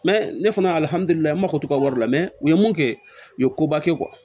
ne fana ye n mako to wari la mɛ u ye mun kɛ u ye koba kɛ